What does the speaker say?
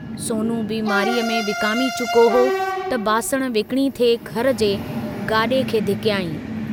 सोनु बीमारीअ में विकामी चुको हो त बासण विकिणी थे घर जे गाड़े खे धिकयांईं।